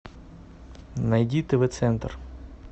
найди тв центр